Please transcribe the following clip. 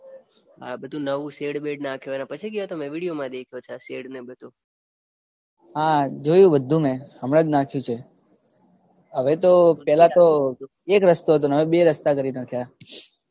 આ બધું નવું શેડબેડ નાખ્યું પછી ગયા તમે વિડિયોમાં દેખ્યું છે આ શેડ બધું હા જોયું બધું મે હમણાં જ નાખ્યું છે હવે તો પહેલા તો એક રસ્તો હતો હવે બે રસ્તા કરી નાખ્યા